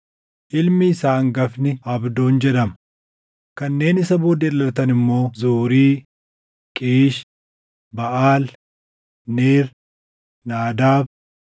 ilmi isaa hangafni Abdoon jedhama; kanneen isa booddee dhalatan immoo Zuuri, Qiish, Baʼaal, Neer, Naadaab,